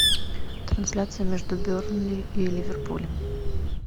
трансляция между бернли и ливерпулем